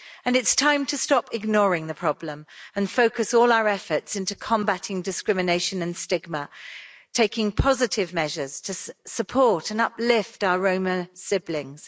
It's time to stop ignoring the problem and focus all our efforts into combating discrimination and stigma, taking positive measures to support and uplift our Roma siblings.